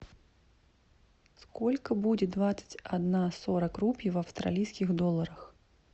сколько будет двадцать одна сорок рупий в австралийских долларах